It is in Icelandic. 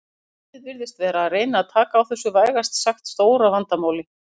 En liðið virðist vera að reyna taka á þessu vægast sagt stóra vandamáli.